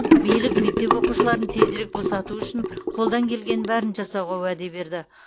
билік мектеп оқушыларын тезірек босату үшін қолдан келгеннің бәрін жасауға уәде берді